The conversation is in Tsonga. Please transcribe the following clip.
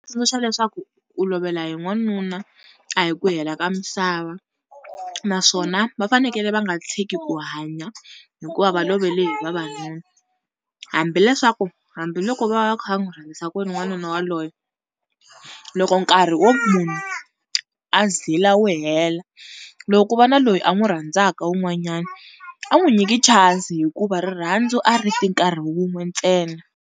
Tsundzuxa leswaku ku lovela hi n'wanuna a hi ku hela ka misava, naswona va fanekele va nga tshiki ku hanya hikuva va lovele hi vavanuna, hambi leswaku, hambiloko va kha va n'wi rhandzisa ku yini n'wanuna waloye loko nkarhi wo munhu a zila wu hela loko ku va na loyi a n'wi rhandzaka wun'wanyana a n'wi nyiki chance hikuva rirhandzu a ri ti nkarhi wun'we ntsena.